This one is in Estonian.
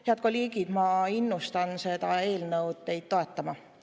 Head kolleegid, ma innustan teid seda eelnõu toetama.